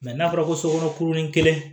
n'a fɔra ko sokɔnɔ kurunin kelen